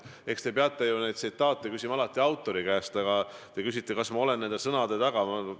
Eks te peaksite tsitaatide kohta alati küsima autorite käest, aga te küsisite, kas ma olen nende sõnade taga.